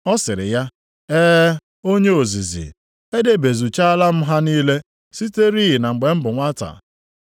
Ọ sịrị ya, “E, onye ozizi, Edebezuchaala m ha niile siterị na mgbe m bụ nwata.”